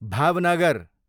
Bhavnagar